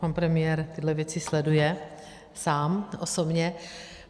Pan premiér tyhle věci sleduje sám osobně.